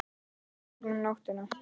Ferð gegnum nóttina